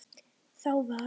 Þá var